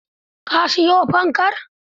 Ka siyo fankar?